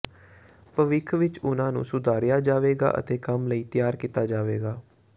ਭਵਿੱਖ ਵਿੱਚ ਉਨ੍ਹਾਂ ਨੂੰ ਸੁਧਾਰਿਆ ਜਾਵੇਗਾ ਅਤੇ ਕੰਮ ਲਈ ਤਿਆਰ ਕੀਤਾ ਜਾਵੇਗਾ